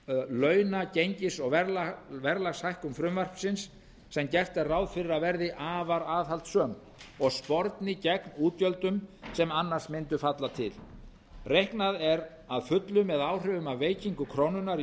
launa gengis og verðlagshækkun frumvarpsins sem gert er ráð fyrir að verði afar aðhaldssöm og sporni gegn útgjöldum sem annars mundu falla til reiknað er að fullu með áhrifum af veikingu krónunnar í